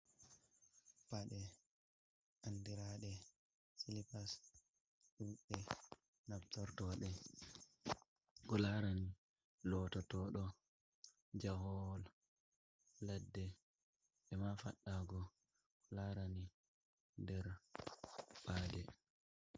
Paɗe andiraɗe silipas hunde nabtortoɗe ko larani lototoɗo jahool ladde be ma fadago ko larani nder paɗe.